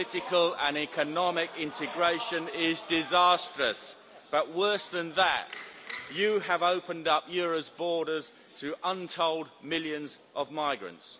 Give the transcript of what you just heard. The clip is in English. European political and economic integration is disastrous but, worse than that, you have opened up Europe's borders to untold millions of migrants.